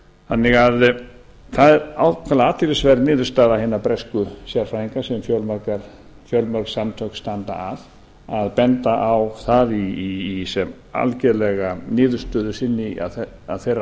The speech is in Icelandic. áfenginu þannig að það er ákaflega athyglisverð niðurstaða hinna bresku sérfræðinga sem fjölmörg samtök standa að að benda á það sem algjörlega niðurstöðu sína af þeirra